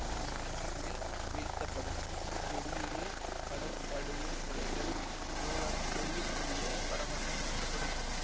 இப்படச் சுருளில் வீழ்த்தப்படும் தெறியுரு படம் கழுவும் முறைகள் மூலம் தெரியக்கூடிய படமாக மாற்றப்படும்